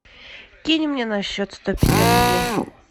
кинь мне на счет сто пятьдесят рублей